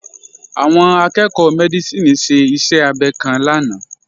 Àwọn akẹ́ẹ̀kọ́ Mẹ́dísìnì ṣe iṣẹ́ abẹ kan lánàá